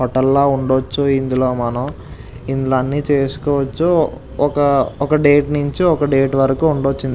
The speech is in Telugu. హోటల్ లా ఉండచ్చు ఇందులో మనం ఇందులో అన్నీ చేసుకోవచ్చు ఒక ఒక డేట్ నించి ఒక డేట్ వరకు ఉండచ్చు ఇన్ --